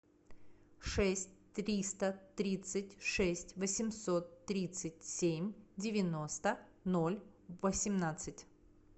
шесть триста тридцать шесть восемьсот тридцать семь девяносто ноль восемнадцать